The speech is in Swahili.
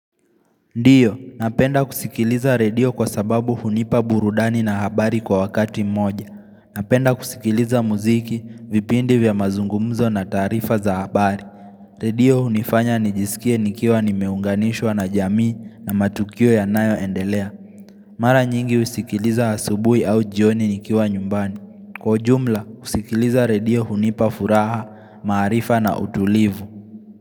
Ndiyo, napenda kusikiliza redio kwa sababu hunipa burudani na habari kwa wakati moja Napenda kusikiliza muziki, vipindi vya mazungumzo na taarifa za habari Redio hunifanya nijisikie nikiwa nimeunganishwa na jamii na matukio yanayoendelea Mara nyingi husikiliza asubuhi au jioni nikiwa nyumbani Kwa jumla, kusikiliza radio hunipa furaha, maarifa na utulivu.